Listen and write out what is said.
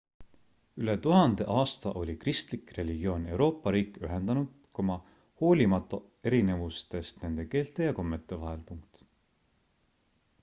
üle tuhande aasta oli kristlik religioon euroopa riike ühendanud hoolimata erinevustest nende keelte ja kommete vahel